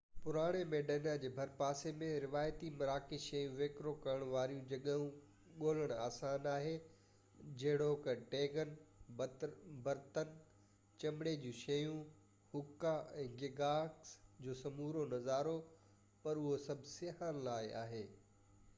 پراڻي ميڊينا جي ڀر پاسي ۾ روايتي مراڪش شيون وڪرو ڪرڻ واريون جڳهيون ڳولڻ آسان آهي جهڙوڪ ٽيگين برتن چمڙي جون شيون حڪا ۽ گيگاس جو سمورو نظارو پر اهو سڀ سياحن لاءِ آهي